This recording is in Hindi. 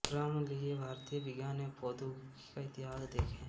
क्रम लिए भारतीय विज्ञान एवं प्रौद्योगिकी का इतिहास देखें